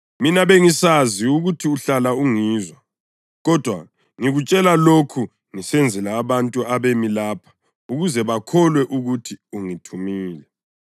Mina bengisazi ukuthi uhlala ungizwa, kodwa ngikutshela lokhu ngisenzela abantu abemi lapha ukuze bakholwe ukuthi ungithumile.”